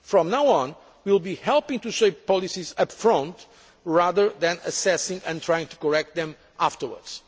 From now on, we will be helping to shape policies upfront rather than assessing and trying to correct them afterwards.